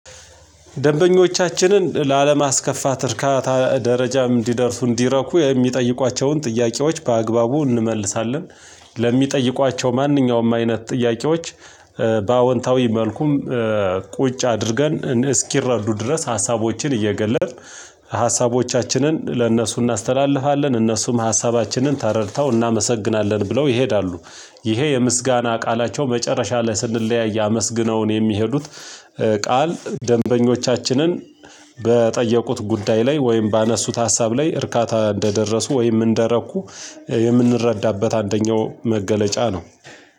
ደንበኞቻችንን ላለማስከፋት እርካታ ደረጃም እንዲደርሱ እንዲረኩ የሚጠይቋቸውን ጥያቄዎች በአግባቡ እንመልሳለን። ለሚጠይቋቸው ማንኛውም አይነት ጥያቄዎች በአዎንታዊ መልኩም ቁጭ አድርገን እስኪረዱ ድረስ ሀሳቦችን እየገለጥን ሀሳቦቻችንን ለእነሱ እናስተላልፋለን እነሱም ሀሳባችንን ተረድተው እናመሰግናለን ብለው ይሄዳሉ። ይሄ የምስጋና ቃላቸው መጨረሻ ላይ ስንለያይ አመስግነውን የሚሄዱት ቃል ደንበኞቻችንን በጠየቁት ጉዳይ ላይ ወይም ባነሱት ሀሳብ ላይ እርካታ እንደደረሱ ወይም እንደረኩ የምንረዳበት አንደኛው መገለጫ ነው።